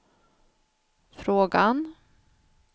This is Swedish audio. frågan